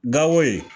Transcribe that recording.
Gawo yen